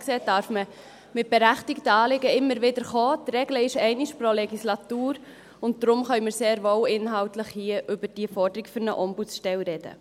Von daher darf man also mit berechtigten Anliegen immer wieder kommen, die Regel ist einmal pro Legislatur, und deshalb können wir hier sehr wohl inhaltlich über die Forderung nach einer Ombudsstelle sprechen.